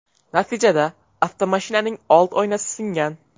Natijada avtomashinaning old oynasi singan.